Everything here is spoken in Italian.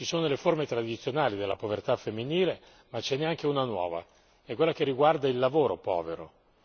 Ci sono le forme tradizionali della povertà femminile ma ce n'è anche una nuova quella che riguarda il lavoro povero.